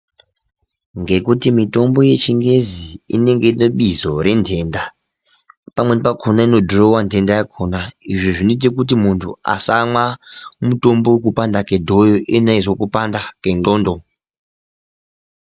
Ngekuti mitombo yechingezi inonge ine bizo rentenda. Pamweni pakona ino dhurova nhenda yakona, izvo zvinota kuti muntu asamwa mutombo vekupanda kwedhoyo iyena eizwa kupanda kwendxondo.